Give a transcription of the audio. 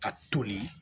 Ka toli